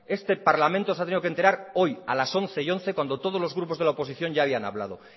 este parlamento se ha tenido que enterar hoy a las once once cuando todos los grupos de la oposición ya habían hablado